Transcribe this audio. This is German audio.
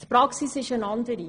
Die Praxis ist eine andere.